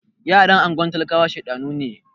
Ghetto children are stubborn